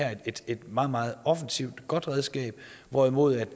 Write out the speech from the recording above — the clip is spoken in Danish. er et meget meget offensivt og godt redskab hvorimod